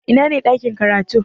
Ina ne ɗakin karatu?